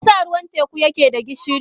Me yasa ruwan teku yake da gishiri?